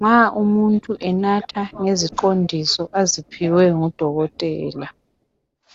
Nxa umuntu enatha ngeziqondiso aziphiwe ngudokotela.